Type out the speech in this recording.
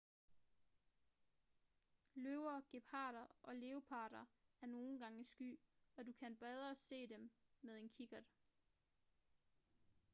løver geparder og leoparder er nogle gange sky og du kan bedre se dem med en kikkert